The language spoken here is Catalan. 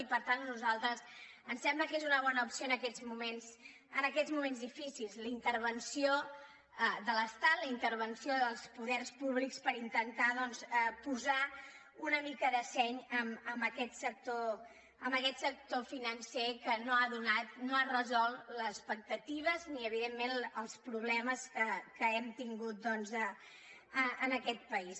i per tant a nosaltres ens sembla que és una bona opció en aquests moments difícils la intervenció de l’estat la intervenció dels poders públics per intentar doncs posar una mica de seny en aquest sector financer que no ha resolt les expectatives ni evidentment els problemes que hem tingut en aquest país